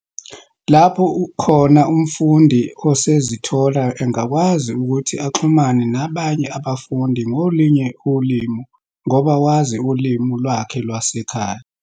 Lapho khona umfundi esezithola engakwazi ukuthi axhumane nabanye abafundi ngolunye ulimi ngoba wazi ulimi lwakhe lwasekhaya.